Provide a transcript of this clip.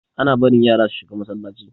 Ana barin yasa su shiga Masallaci.